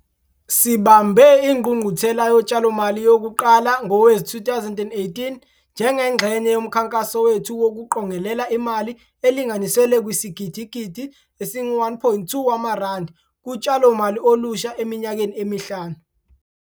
Sibambe Ingqungquthela Yotshalomali yokuqala ngowezi-2018 njengengxenye yomkhankaso wethu wokuqongelela imali elinganiselwa kwisigidigidi esi-R1.2 kutshalomali olusha eminyakeni emihlanu.